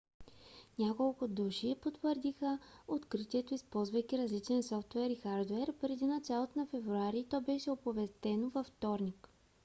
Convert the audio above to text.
няколко души потвърдиха откритието използвайки различен софтуер и хардуер преди началото на февруари и то беше оповестено във вторник